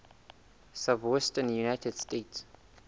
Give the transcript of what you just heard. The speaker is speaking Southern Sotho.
southwestern united states